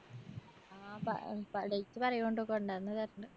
ആ പ പ date പറയോണ്ട് കൊണ്ടോന്ന് തര്ണ്ട്.